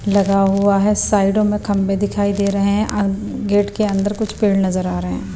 लगा हुआ है साइडों में खंबे दिखाई दे रहे हैं गेट के अंदर कुछ पेड़ नजर आ रहे हैं।